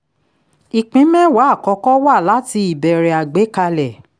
ìpín mẹ́wàá àkọ́kọ́ wá láti ìbẹ̀rẹ̀ àgbékalẹ̀